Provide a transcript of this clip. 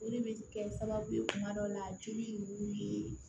O de bɛ kɛ sababu ye kuma dɔw la joli ninnu ye